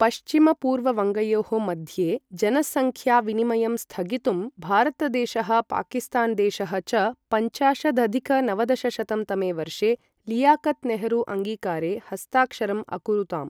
पश्चिम पूर्ववङ्गयोः मध्ये जनसङ्ख्याविनिमयं स्थगितुं, भारतदेशः पाकिस्तान् देशः च पञ्चाशदधिक नवदशशतं तमे वर्षे लियाकत् नेहरू अङ्गीकारे हस्ताक्षरम् अकुरुताम्।